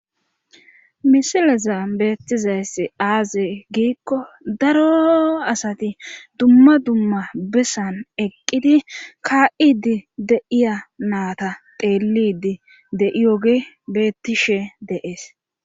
Misileza beettizayss aaze giikko daro asati dumma dumma besan eqqidi kaa'idi de'iya naata teellidi de7iyoge beettishe deees.